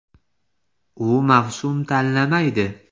U mavsum tanlamaydi.